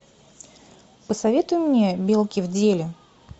посоветуй мне белки в деле